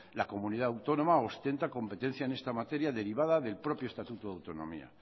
la comunidad autónoma ostenta competencia en esta materia derivada del propio estatuto de autonomía